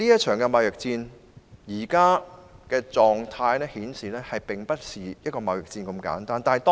綜觀目前的狀態，這場貿易戰並不是一場簡單的貿易戰。